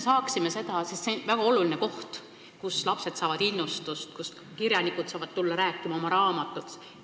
Raamatukogu on väga oluline koht, kus lapsed saavad innustust ja kuhu kirjanikud saavad tulla rääkima oma raamatust.